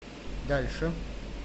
дальше